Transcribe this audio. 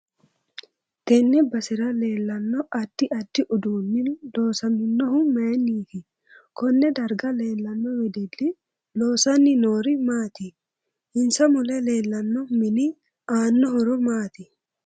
Tenne basera leelanno addi addi uduuni loosaminohu mayiiniiti konne darga leelano wedelli loosanni noori maati insa mule leelano mini aano horo maati